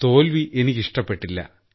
തോൽവി എനിക്കിഷ്ടപ്പെട്ടില്ല